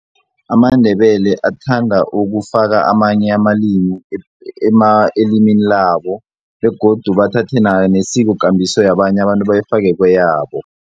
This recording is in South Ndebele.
AmaNdebele athanda ukufaka amanye amalimi elimini labo begodu bathathe nesikokambiso yabanye abantu bayifake kweyabo.